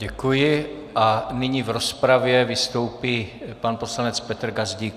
Děkuji a nyní v rozpravě vystoupí pan poslanec Petr Gazdík.